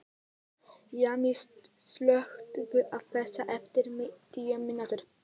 Jamil, slökktu á þessu eftir níutíu mínútur.